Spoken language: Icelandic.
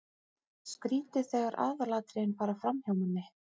Skrýtið þegar aðalatriðin fara framhjá manni!